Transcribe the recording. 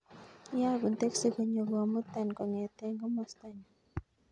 Iyagun teksi konyo komutan kongeten komosta nyun